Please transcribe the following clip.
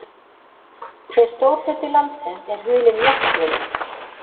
Hve stór hluti landsins er hulinn jöklum?